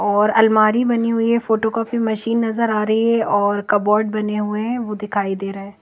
और अलमारी बनी हुई है और फोटोकॉपी मशीन नज़र आरही है और कबोट बने हुए है वो दिखाई दे रहे है।